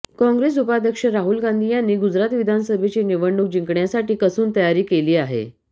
काँग्रेस उपाध्यक्ष राहुल गांधी यांनी गुजरात विधानसभेची निवडणूक जिंकण्यासाठी कसून तयारी केली आहे